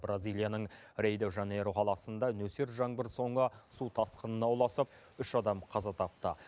бразилияның рей де жанейро қаласында нөсер жаңбыр соңы су тасқынына ұласып үш адам қаза тапты